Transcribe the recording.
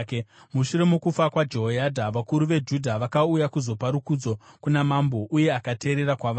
Mushure mokufa kwaJehoyadha, vakuru veJudha vakauya kuzopa rukudzo kuna mambo, uye akateerera kwavari.